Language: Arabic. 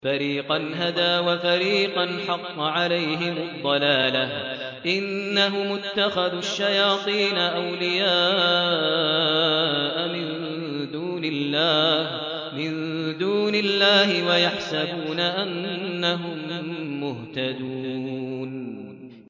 فَرِيقًا هَدَىٰ وَفَرِيقًا حَقَّ عَلَيْهِمُ الضَّلَالَةُ ۗ إِنَّهُمُ اتَّخَذُوا الشَّيَاطِينَ أَوْلِيَاءَ مِن دُونِ اللَّهِ وَيَحْسَبُونَ أَنَّهُم مُّهْتَدُونَ